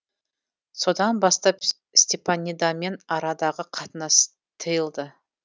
содан бастап степанидамен арадағы қатынас тиылды